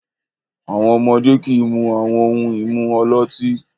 Àwọn ọmọdé kì í mu àwọn ohun-ìmu ọlọ́tí.